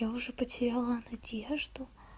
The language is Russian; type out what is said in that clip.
я уже потеряла надежду